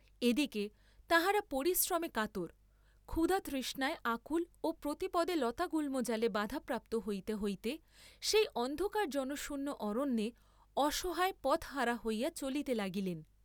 এদিকে তাঁহারা পরিশ্রমে কাতর, ক্ষুধা তৃষ্ণায় আকুল ও প্রতিপদে লতাগুল্মজালে বাধা প্রাপ্ত হইতে হইতে সেই অন্ধকার জনশূন্য অরণ্যে অসহায় পথহারা হইয়া চলিতে লাগিলেন।